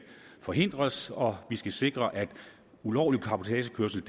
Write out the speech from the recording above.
forhindres og at vi skal sikre at ulovlig cabotagekørsel